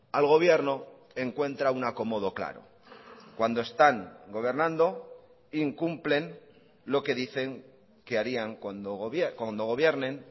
al gobierno encuentra un acomodo claro cuando están gobernando incumplen lo que dicen que harían cuando gobiernen